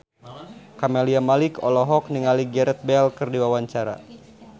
Camelia Malik olohok ningali Gareth Bale keur diwawancara